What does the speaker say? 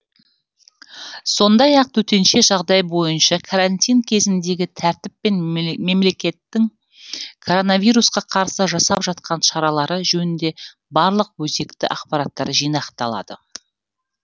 сондай ақ төтенше жағдай бойынша карантин кезіндегі тәртіп пен мемлекеттің коронавирусқа қарсы жасап жатқан шаралары жөнінде барлық өзекті ақпараттар жинақталады